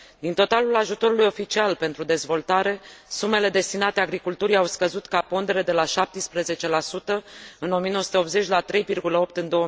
Din totalul ajutorului oficial pentru dezvoltare, sumele destinate agriculturii au scăzut ca pondere de la 17 în 1980 la 3,8 în